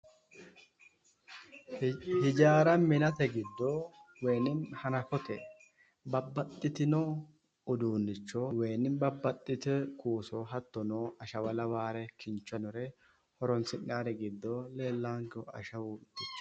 Hijaara minate giddo woynim hanafote babbaxitino uduunnicho wo babbaxxino kuuso hattono ashawa lawaare kincho noore horonsi'nayiiri giddo leellaankehu ashawu